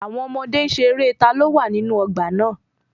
Àwọn ọmọdé n ṣe eré "ta ló wà nínú ọgbà náà"